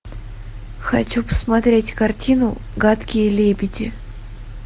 хочу посмотреть картину гадкие лебеди